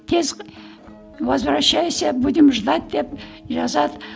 тез возвращайся будем ждать деп жазады